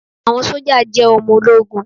Àwọn sójà jẹ́ ọmọ ológun